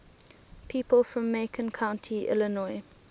people from macon county illinois